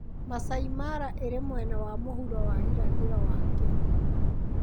Maasai Mara ĩrĩ mwena wa mũhuro wa irathĩro wa Kenya.